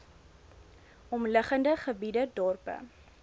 omliggende gebiede dorpe